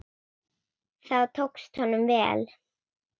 Það tókst honum vel.